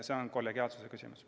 See on kollegiaalsuse küsimus.